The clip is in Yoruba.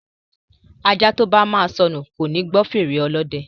Ajá tóba máa sọnù koni gbọ́ fèrè Olódẹ